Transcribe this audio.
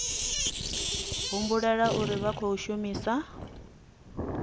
humbulela uri vha khou shumisa